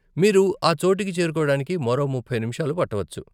మీరు ఆ చోటుకి చేరుకోవడానికి మరో ముప్పై నిమిషాలు పట్టవచ్చు.